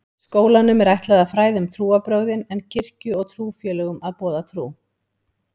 Skólanum er ætlað að fræða um trúarbrögðin en kirkju og trúfélögum að boða trú.